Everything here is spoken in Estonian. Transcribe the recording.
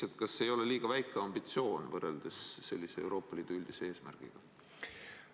Teiseks, kas see ei ole liiga väike ambitsioon võrreldes Euroopa Liidu üldise eesmärgiga?